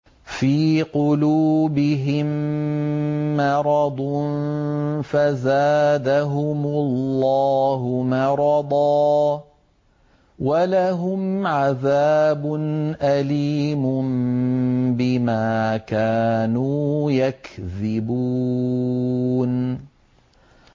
فِي قُلُوبِهِم مَّرَضٌ فَزَادَهُمُ اللَّهُ مَرَضًا ۖ وَلَهُمْ عَذَابٌ أَلِيمٌ بِمَا كَانُوا يَكْذِبُونَ